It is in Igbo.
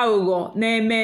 àghụ́ghọ́ nà-èmè.